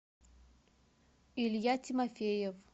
илья тимофеев